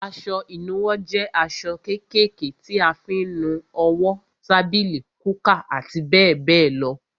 Aṣọ ìnuwọ́ jẹ aṣọ kékèké tí a fi ń nu owó, tábìlì, kúkà àti bẹ́ẹ̀ bẹ́ẹ̀ lọ.